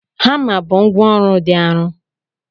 Hama bụ ngwá ọrụ dị arọ.